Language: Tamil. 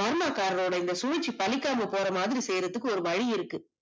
பர்மா காரரோட இந்த சூழ்ச்சி பழிக்காம போறமாதிரி வழி இருக்கு செய்றதுக்கு ஒரு வழி இருக்கு